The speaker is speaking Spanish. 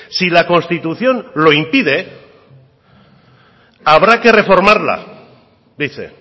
si la constitución lo impide habrá que reformarla dice